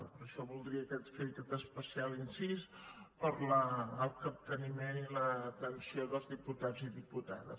per això voldria fer aquest especial incís per al capteniment i l’atenció dels diputats i diputades